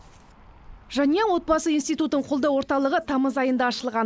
жанұя отбасы институтын қолдау орталығы тамыз айында ашылған